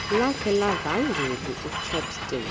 lakhe levangeli ushepstone